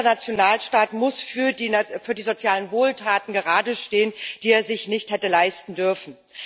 Jeder Nationalstaat muss für die sozialen Wohltaten geradestehen, die er sich nicht hätte leisten dürfen.